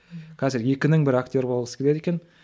қазір екінің бірі актер болғысы келеді екен